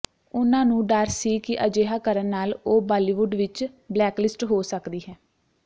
ਉਨ੍ਹਾਂ ਨੂੰ ਡਰ ਸੀ ਕਿ ਅਜਿਹਾ ਕਰਨ ਨਾਲ ਉਹ ਬਾਲੀਵੁਡ ਵਿੱਚ ਬਲੈਕਲਿਸਟ ਹੋ ਸਕਦੀ ਹੈ